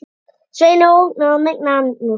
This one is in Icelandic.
Sveini óhugnað og megna andúð.